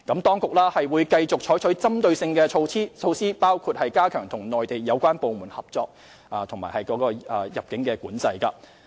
當局會繼續採取針對性的措施，包括加強與內地有關部門合作及入境管制。